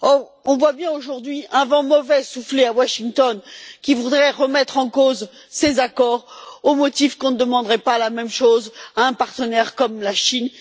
Toutefois, on constate aujourd'hui qu'un vent mauvais souffle à Washington, qui vise à remettre en cause ces accords au motif qu'on ne demanderait pas la même chose à un partenaire comme la Chine.